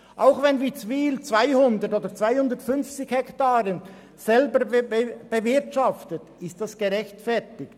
Auch wenn Witzwil 200 oder 250 Hektaren selber bewirtschaftet, ist das gerechtfertigt.